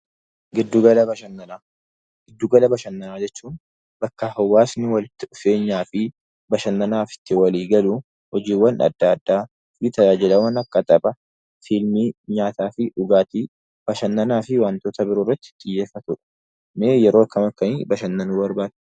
Giddu gala bashannanaa Giddu gala bashannanaa jechuun bakka hawaasni walitti dhufeenyaa fi bashannanaaf itti walii galuu, hojiiwwan addaa addaa nu tajaajilan akka taphaa, fiilmii, nyaataa fi dhugaatii, bashannanaa fi waantota biroo irratti xiyyeeffatudha. Mee yeroo akkam akkamii bashannanuu barbaaddu?